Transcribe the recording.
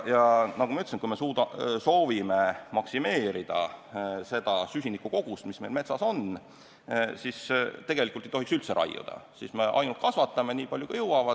Ja nagu ma ütlesin, kui me soovime maksimeerida seda süsiniku kogust, mis meil metsas on, siis tegelikult ei tohiks me üldse raiuda, me peaksime ainult kasvatama, nii palju kui jõuame.